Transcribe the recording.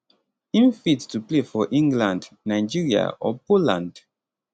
im fit to play for england nigeria or poland